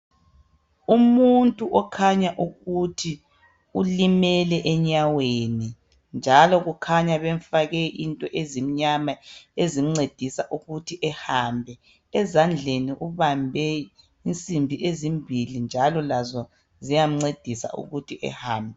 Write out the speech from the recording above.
Umuntu okhanya ukuthi ulimele enyaweni, njalo kukhunya bemfake into ezimnyama ezimncedisa ukuthi ehambe. Ezandleni ubambe insimbi ezimbili, njalo lazo ziyamncedisa ukuthi ehambe.